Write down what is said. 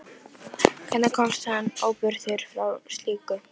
Hvernig komst hann óbugaður frá slíku?